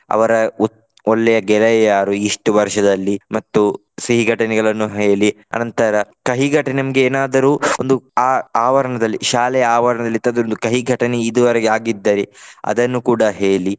ಅವರ ಉ~ ಒಳ್ಳೆಯ ಗೆಳೆಯ ಯಾರು ಇಷ್ಟು ವರ್ಷದಲ್ಲಿ ಮತ್ತು ಸಿಹಿ ಘಟನೆಗಳನ್ನು ಹೇಳಿ ನಂತರ ಕಹಿಘಟನೆ ನಮ್ಗೆ ಏನಾದರೂ ಒಂದು ಆ~ ಆವರಣದಲ್ಲಿ ಶಾಲೆಯ ಆವರಣದಲ್ಲಿ ಇಂಥದೊಂದು ಕಹಿಘಟನೆ ಇದುವರೆಗೆ ಆಗಿದ್ದರೆ ಅದನ್ನು ಕೂಡ ಹೇಳಿ.